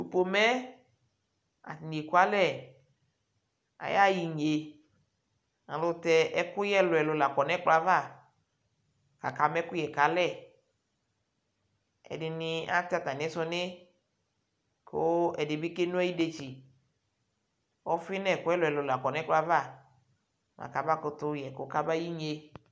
Pomeɛ ateɲi ekualɛ ayayiŋyi elʊtɛ ɛkʊyɛ ɛlʊɛlʊ lakɔ ɲʊ ɛgblɔ ava akama ɛkʊyɛ kalɛ ɛdiɲɩ atɛ tamisʊɲi kʊ ɛdɩbɩ keno idetsi ɔvi ɲʊ ɛlʊɛlʊ lakɔ ɲʊ ɛgblɔava kabakʊtʊ yɛkʊ kaba ƴiŋyɩe